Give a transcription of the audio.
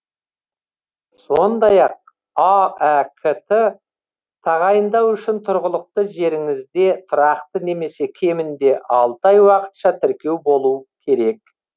сондай ақ аәк ті тағайындау үшін тұрғылықты жеріңізде тұрақты немесе кемінде алты ай уақытша тіркеу болу керек